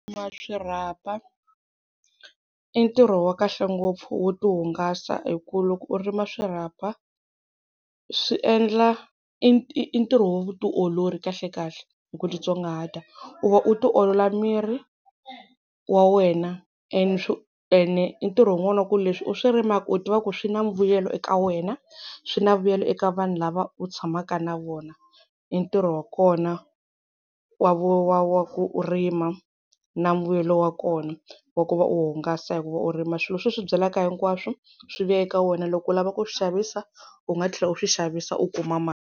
Ku rima swirhapa i ntirho wa kahle ngopfu wo ti hungasa, hi ku loko u rima swirhapa swi endla i ntirho wa vutiolori kahlekahle hi ku titsongahata u va u tiolola miri wa wena. ene i ntirho wun'wani wa ku leswi u swi rimaka u tiva ku swi na mbuyelo eka wena, swi na vuyelo eka vanhu lava u tshamaka na vona, i ntirho wa kona wa vu wa wa ku rima na mbuyelo wa kona wa ku va u hungasa hi ku va u rima swilo leswi u swi byalaka hinkwaswo swi vuya eka wena loko u lava ku swi xavisa u nga tlhela u swi xavisa u kuma mali.